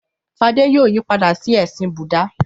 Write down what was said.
Fadé yóò yí padà sí ẹ̀sìn Búdà.